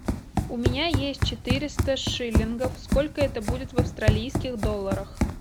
у меня есть четыреста шиллингов сколько это будет в австралийских долларах